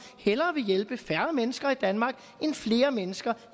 hellere vil hjælpe færre mennesker i danmark end flere mennesker